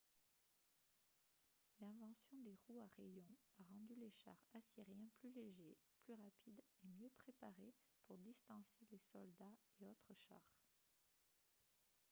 l'invention des roues à rayons a rendu les chars assyriens plus légers plus rapides et mieux préparés pour distancer les soldats et autres chars